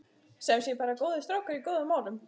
Sem sé bara góðir strákar í góðum málum.